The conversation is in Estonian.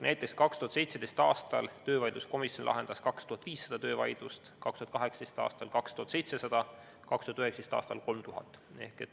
Näiteks 2017. aastal lahendas töövaidluskomisjon 2500 töövaidlust, 2018. aastal 2700 ja 2019. aastal 3000.